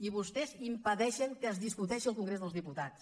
i vostès impedeixen que es discuteixi al congrés dels diputats